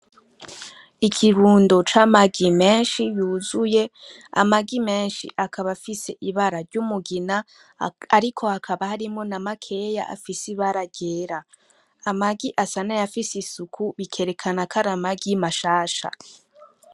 Ikirundo c'amagi menshi yuzuye,.Amagi menshi akaba afise ibara: ry'umugina ariko hakaba harimwo namakeya afise ibara ryera. Amagi asa n'ayafise isuku bikerekana kw'aramagi mashasha.